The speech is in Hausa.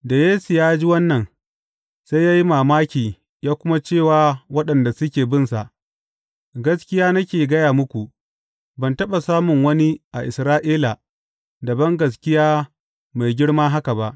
Da Yesu ya ji wannan, sai ya yi mamaki ya kuma ce wa waɗanda suke binsa, Gaskiya nake gaya muku, ban taɓa samun wani a Isra’ila da bangaskiya mai girma haka ba.